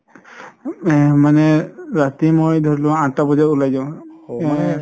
এ মানে ৰাতি মই ধৰি লোৱা আঠতা বজাত উলাই যাও